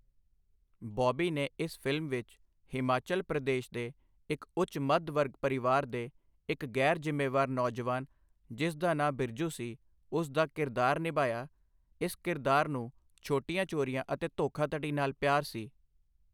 ਬੌਬੀ ਨੇ ਇਸ ਫ਼ਿਲਮ ਵਿੱਚ ਹਿਮਾਚਲ ਪ੍ਰਦੇਸ਼ ਦੇ ਇੱਕ ਉੱਚ ਮੱਧ ਵਰਗ ਪਰਿਵਾਰ ਦੇ ਇੱਕ ਗੈਰ ਜ਼ਿੰਮੇਵਾਰ ਨੌਜਵਾਨ ਜਿਸ ਦਾ ਨਾਂ ਬਿਰਜੂ ਸੀ ਉਸ ਦਾ ਕਿਰਦਾਰ ਨਿਭਾਇਆ, ਇਸ ਕਿਰਦਾਰ ਨੂੰ ਛੋਟੀਆਂ ਚੋਰੀਆਂ ਅਤੇ ਧੋਖਾਧੜੀ ਨਾਲ ਪਿਆਰ ਸੀ।